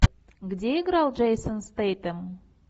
где играл джейсон стэйтем